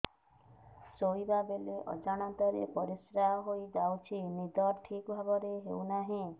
ଶୋଇଲା ବେଳେ ଅଜାଣତରେ ପରିସ୍ରା ହୋଇଯାଉଛି ନିଦ ଠିକ ଭାବରେ ହେଉ ନାହିଁ